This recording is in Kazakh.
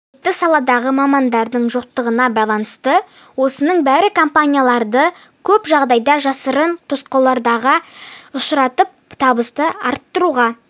қажетті саладағы мамандардың жоқтығына байланысты осының бәрі компанияларды көп жағдайда жасырын тосқауылдарға ұшыратып табысты арттыруға